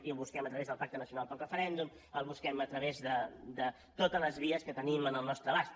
i el busquem a través del pacte nacional pel referèndum el busquem a través de totes les vies que tenim al nostre abast